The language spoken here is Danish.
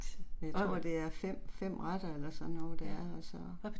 Jeg tror det er 5, 5 retter eller sådan noget der altså